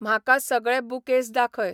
म्हाका सगळे बुकेस दाखय